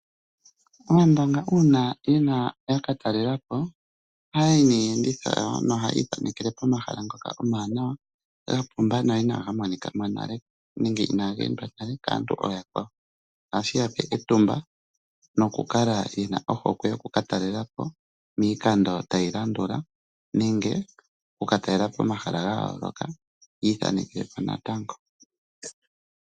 Aandonga uuna ya ka talela po ohaya yi niiyenditho. Ohaya ithanekele pomahala ngoka omawanawa ga pumba no inaga monika mo nale nenge inaaga endwa nale kaantu ooyakwawo. Ohashi ya pe etumba nokukala ye na hokwe yoku ka talela po miikando tayi landula nenge oku ka talela po pomahala ga yooloka yi ithanekele po natango.